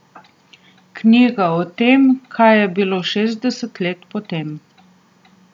Knjiga o tem, kaj je bilo šestdeset let potem.